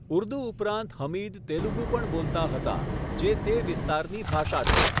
ઉર્દુ ઉપરાંત હમીદ તેલુગુ પણ બોલતા હતા, જે તે વિસ્તારની ભાષા છે.